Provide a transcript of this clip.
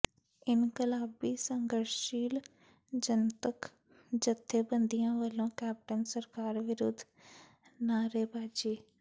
ਇਨਕਲਾਬੀ ਸੰਘਰਸ਼ਸ਼ੀਲ ਜਨਤਕ ਜਥੇਬੰਦੀਆਂ ਵਲੋਂ ਕੈਪਟਨ ਸਰਕਾਰ ਵਿਰੁੱਧ ਨਾਅਰੇਬਾਜ਼ੀ